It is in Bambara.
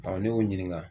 ne y'o ɲininka